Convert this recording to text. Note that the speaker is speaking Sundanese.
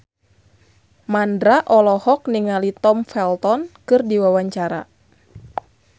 Mandra olohok ningali Tom Felton keur diwawancara